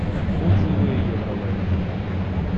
отзывы евролэнд